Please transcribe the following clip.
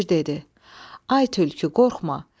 Şir dedi: Ay tülkü, qorxma.